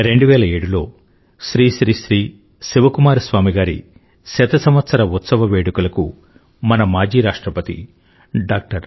2007లో శ్రీ శ్రీ శ్రీ శివ కుమార స్వామి గారి శత సంవత్సర ఉత్సవ వేడుకలకు మన మాజీ రాష్ట్రపతి డాక్టర్